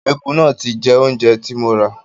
Ẹku náà ti ń jẹ oúnjẹ tí mo rà.